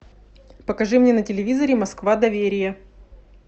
покажи мне на телевизоре москва доверие